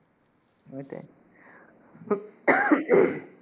এটাই